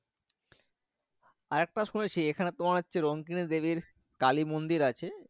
আর একটা শুনেছি এখানে তোমার রংকিনী দেবীর কালী মন্দির আছে।